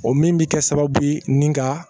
O min bɛ kɛ sababu ye ni ka